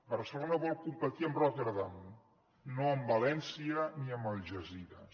barcelona vol competir amb rotterdam no amb valència ni amb algesires